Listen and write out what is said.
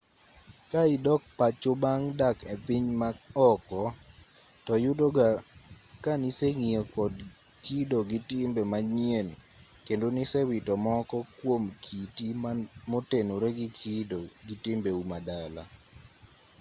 ka idok pacho bang dak e piny ma oko to yudo ga ka niseng'iyo kod kido gi timbe manyien kendo nisewito moko kuom kiti motenore gi kido gi timbeu ma dala